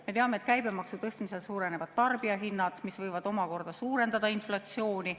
Me teame, et käibemaksu tõstmisel tarbijahinnad, mis võivad omakorda suurendada inflatsiooni.